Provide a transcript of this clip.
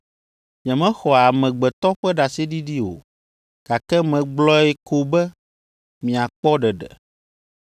Nyemexɔa amegbetɔ ƒe ɖaseɖiɖi o, gake megblɔe ko be miakpɔ ɖeɖe.